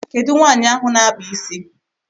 Kedụ nwaanyị ahụ na-akpa ísí?